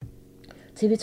TV 2